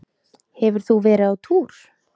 Hefur þú verið á túr?